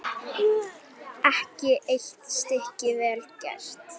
Ekki eitt stykki vel gert.